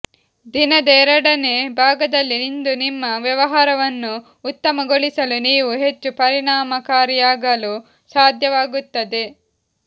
ದಿನದ ಎರಡನೇ ಭಾಗದಲ್ಲಿ ಇಂದು ನಿಮ್ಮ ವ್ಯವಹಾರವನ್ನು ಉತ್ತಮಗೊಳಿಸಲು ನೀವು ಹೆಚ್ಚು ಪರಿಣಾಮಕಾರಿಯಾಗಲು ಸಾಧ್ಯವಾಗುತ್ತದೆ